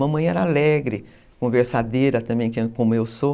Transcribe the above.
Mamãe era alegre, conversadeira também, como eu sou.